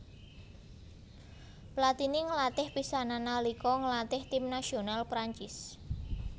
Platini nglatih pisanan nalika nglatih tim nasional Prancis